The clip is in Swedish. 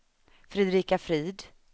Fredrika Frid